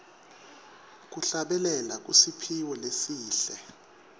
kuhlabelela kusiphiwo lesihle